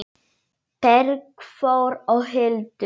Bergþór og Hildur.